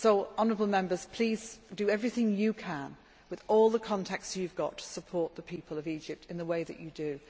Honourable Members, please do everything you can, with all the contacts you have, to support the people of Egypt in the way that you do.